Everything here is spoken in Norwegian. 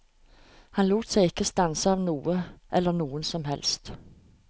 Han lot seg ikke stanse av noe eller noen som helst.